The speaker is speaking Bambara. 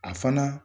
A fana